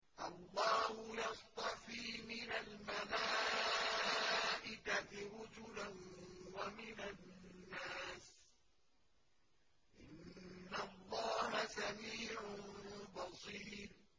اللَّهُ يَصْطَفِي مِنَ الْمَلَائِكَةِ رُسُلًا وَمِنَ النَّاسِ ۚ إِنَّ اللَّهَ سَمِيعٌ بَصِيرٌ